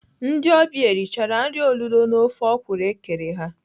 Ndị ọbịa erichara nri olulo na ofe ọkwụrụ ekere ha?